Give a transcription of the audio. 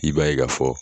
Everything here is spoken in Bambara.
I b'a ye ka fɔ